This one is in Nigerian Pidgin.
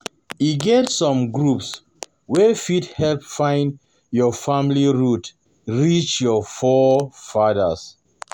E get some groups wey fit help find your family root reach your forefathers